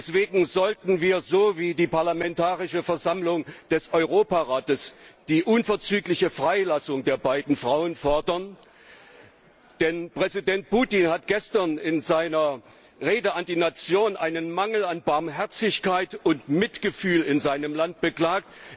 Deswegen sollten wir, so wie die Parlamentarische Versammlung des Europarates, die unverzügliche Freilassung der beiden Frauen fordern, denn Präsident Putin hat gestern in seiner Rede an die Nation einen Mangel an Barmherzigkeit und Mitgefühl in seinem Land beklagt.